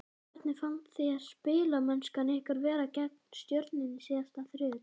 Hvernig fannst þér spilamennskan ykkar vera gegn Stjörnunni síðasta þriðjudag?